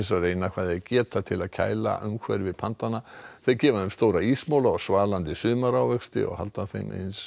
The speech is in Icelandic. reyna hvað þeir geta til þess að kæla umhverfi þeir gefa þeim stóra ísmola og svalandi sumarávexti og halda þeim eins